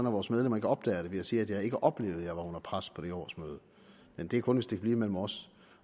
at vores medlemmer ikke opdager det vil jeg sige at jeg ikke oplevede at jeg var under pres på det her årsmøde men det er kun hvis det kan blive mellem os